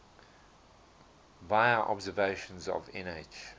vla observations of nh